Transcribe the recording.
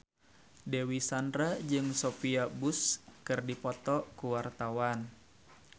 Dewi Sandra jeung Sophia Bush keur dipoto ku wartawan